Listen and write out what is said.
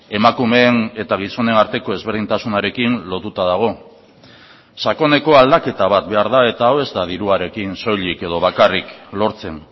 emakumeen eta gizonen arteko ezberdintasunarekin lotuta dago sakoneko aldaketa bat behar da eta hau ez da diruarekin soilik edo bakarrik lortzen